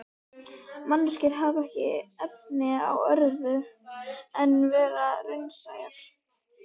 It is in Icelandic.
Manneskjur hafa ekki efni á öðru en vera raunsæjar.